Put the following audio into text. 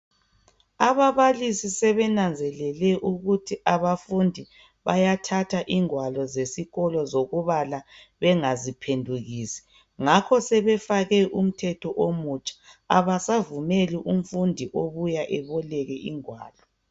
Ababalisi sebenanzelele ukuthi abafundi bayathatha ingwalo zesikolo zokubala bengaziphendukisi ngakho sebefake umthetho omutsha abasavumeli umfundi obuya eboleke ingwalo